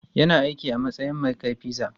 Yana aiki a matsayin mai kai pizza.